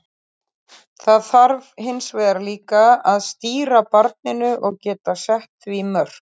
Það þarf hins vegar líka að stýra barninu og geta sett því mörk.